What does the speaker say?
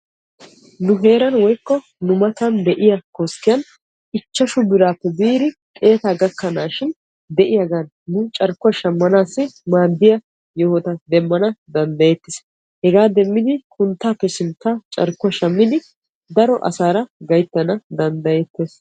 Nu heeran de'iya koskkiyan ichchashu birappe biidi xeetta gakanashin de'iyagan carkkuwa shamanaddan maadiya hagaazata demeetes. Hegaappe denddagan koyyogadan carkkuwa shammiddi hagaaza demetees.